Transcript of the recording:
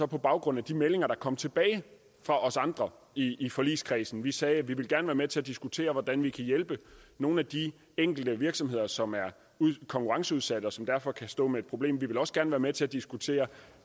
på baggrund af de meldinger der kom tilbage fra os andre i i forligskredsen vi sagde at vi gerne med til at diskutere hvordan vi kan hjælpe nogle af de enkelte virksomheder som er konkurrenceudsatte og som derfor kan stå med et problem vi vil også gerne være med til at diskutere